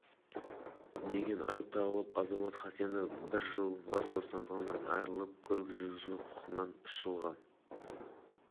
жүргізушіге тармағына сәйкес көлік қозғалысының техникалық ережелері немесе бұзып абайсызда адам денсаулығына ауыр залал келтіргені үшін